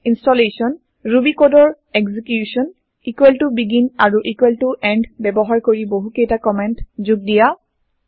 ইন্চটলেচন Ruby কডৰ execution begin আৰু end ব্যৱহাৰ কৰি বহু কেইটা কমেন্ট যোগ দিয়া